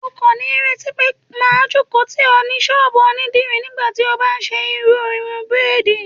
O kò ní retí pé máa jókòó tì ọ ní ṣọ́bùù onídìrí nígbàtí o bá ń ṣe irú irun bírádìì.